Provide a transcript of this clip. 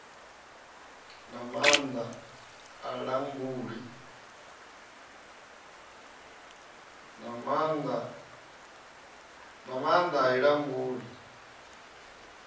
na maanda a i languli